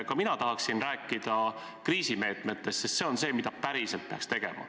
Ka mina tahan rääkida kriisimeetmetest, sest see on see, mida päriselt peaks tegema.